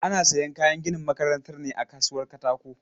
Ana sayan kayan ginin makarantar ne a kasuwan katako.